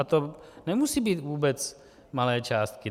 A to nemusí být vůbec malé částky.